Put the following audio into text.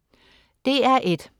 DR1: